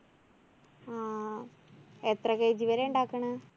ആ എത്ര kg വരെയാ ഇണ്ടാക്കണ്?